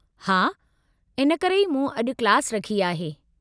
हा, इन करे ई मूं अॼु क्लास रखी आहे।